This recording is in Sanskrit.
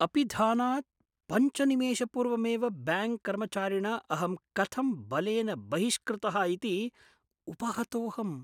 अपिधानात् निमेषपूर्वमेव ब्याङ्क् कर्मचारिणा अहं कथं बलेन बहिष्कृतः इति उपहतोऽहम्।